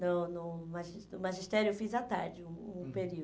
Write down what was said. No no magis magistério eu fiz à tarde, um um período.